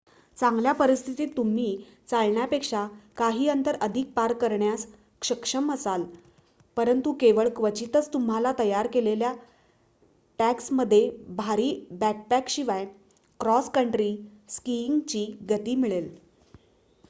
चांगल्या परिस्थितीत तुम्ही चालण्यापेक्षा काही अंतर अधिक पार करण्यास सक्षम असाल परंतु केवळ क्वचितच तुम्हाला तयार केलेल्या ट्रॅक्समध्ये भारी बॅकपॅकशिवाय क्रॉस कंट्री स्कीइंगची गती मिळेल